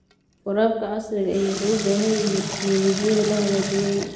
Waraabka casriga ahi wuxuu u baahan yahay tignoolajiyada la hagaajiyay.